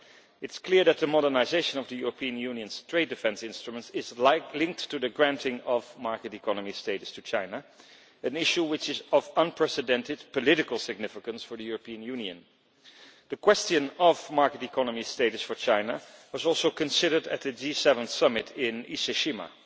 It is clear that the modernisation of the European Union's trade defence instruments is linked to the granting of market economy status to China, an issue which is of unprecedented political significance for the European Union. The question of market economy status for China was also considered at the G7 summit in Ise Shima.